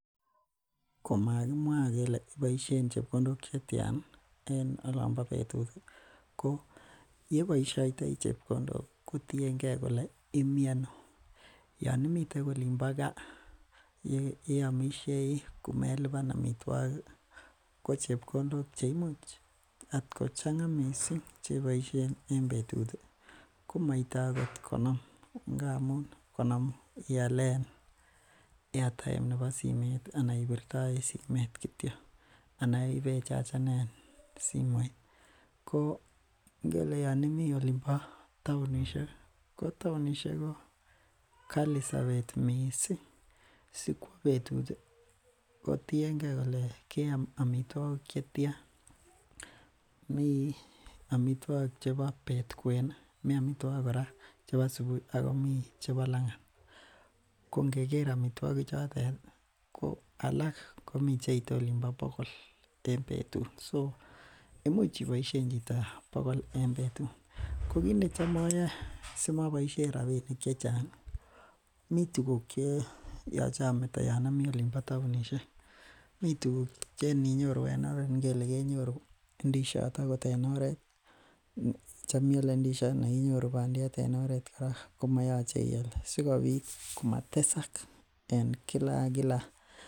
Komakimwaa kele ibaisheen chepkondok che tyaan en olaan bo betut ii ko yebaishaitoi chepkondok kotienkei kole Imiano yaan imiteen olin bo kaaa ye amishei komelipaan amitwagiik ko chepkondok che imuuch at kochaanga missing kebaisheen eng betut ko maite akoot konom iyaleen [airtime] nebo simeet ii anan ibirtoisheen simeet anan ibee changaneen simoit ko kele yaan imii olin bo taunishek ko tasunishek ko Kali sabeet missing sikwaa betut ko tienkei kole keyaam amitwagiik che tyaan amitwagiik chebo beet kween ii akomii chebo subui akomii chebo langaat ko ngeger amitwagiik choot yet ko alaak komii cheite oliin bo bogol en betut imuuch iboisien chito bogol en betut ko kiit ne. Cham ayae simaboisien rapinik che chaang miten tuguuk che yachei ametaa yaan amii olin bo taunishek Mii tuguuk che ininyoruu en oret ngele I kenyoruu ndiziat akoot en oret chaam iyale ndiziat anan inyoruu maiyait sikobiit komateksaak en kila ak kila